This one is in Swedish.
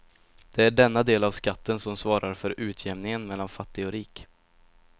Det är denna del av skatten som svarar för utjämningen mellan fattig och rik.